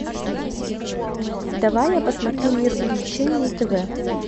давай я посмотрю мир увлечений на тв